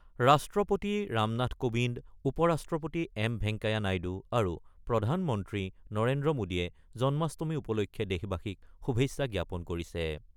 ৰাষ্ট্ৰপতি ৰামনাথ কোবিন্দ, উপৰাষ্ট্ৰপতি এম ভেংকেয়া নাইডু আৰু প্ৰধানমন্ত্ৰী নৰেন্দ্ৰ মোদীয়ে জন্মাষ্টমী উপলক্ষে দেশবাসীক শুভেচ্ছা জ্ঞাপন কৰিছে।